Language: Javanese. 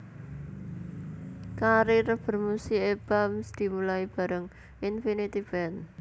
Karir bermusiké Bams dimulai bareng Infinity Band